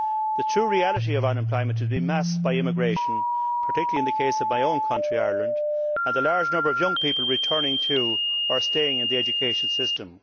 The true reality of unemployment has been masked by immigration, particularly in the case of my own country, Ireland, and the large number of young people returning to, or staying in, the education system.